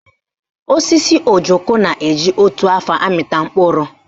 Osisi ojoko na-eji otu afọ amịta mkpụrụ